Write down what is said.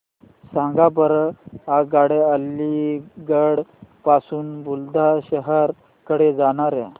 सांगा बरं आगगाड्या अलिगढ पासून बुलंदशहर कडे जाणाऱ्या